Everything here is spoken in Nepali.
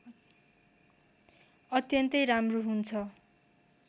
अत्यन्तै राम्रो हुन्छ